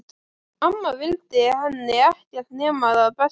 Amma vildi henni ekkert nema það besta.